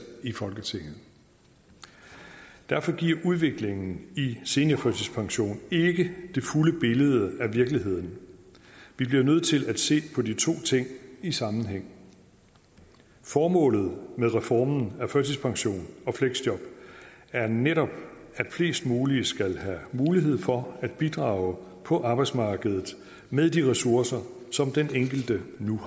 i folketinget derfor giver udviklingen i seniorførtidspension ikke det fulde billede af virkeligheden vi bliver nødt til at se på de to ting i sammenhæng formålet med reformen af førtidspension og fleksjob er netop at flest mulige skal have mulighed for at bidrage på arbejdsmarkedet med de ressourcer som den enkelte nu